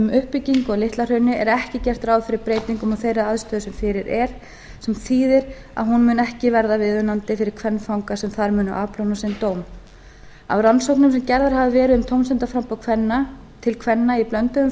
uppbyggingu á litla hrauni er ekki gert ráð fyrir breytingum á þeirri aðstöðu sem fyrir er sem þýðir að hún mun ekki verða viðunandi fyrir kvenfanga sem þar munu afplána sinn dóm af rannsóknum sem gerðar hafa verið um tómstundaframboð til kvenna í